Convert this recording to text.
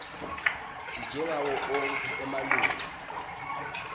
njengawo onkhe emalunga